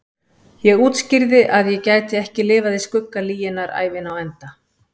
Ég útskýrði að ég gæti ekki lifað í skugga lyginnar ævina á enda.